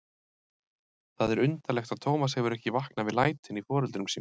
Það er undarlegt að Tómas hefur ekki vaknað við lætin í foreldrum sínum.